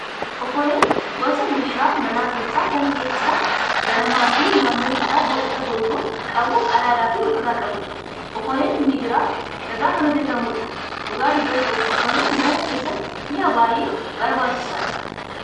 Okoleen gosa meeshaa mana keessaa kan keessi isaa banamaa fi naannoon isaa boca golboo qabu qadaadas ofirraa qabudha. Okoleen Migira irraa kan hojjatamuudha. Dhugaa dubbachuuf okoleen mana keessatti mi'a baay'ee barbaachisaadha.